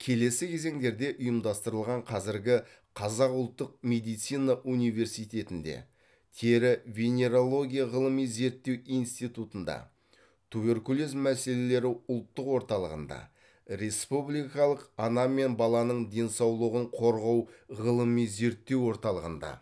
келесі кезеңдерде ұйымдастырылған қазіргі қазақ ұлттық медицина университетінде тері венерология ғылыми зерттеу институтында туберкулез мәселелері ұлттық орталығында республикалық ана мен баланың денсаулығын қорғау ғылыми зерттеу орталығында